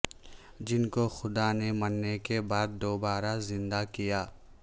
جن کو خدا نے مرنے کے بعد دوبارہ زندہ کیا